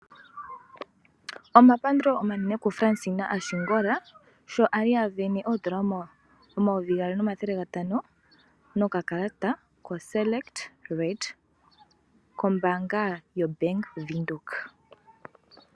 Omapandulo omanene kuFransina yaAshingola sho ali asindana oondola omayovi gaali nomathele gatano nokakalata koSelekt Red kombaanga yaVenduka.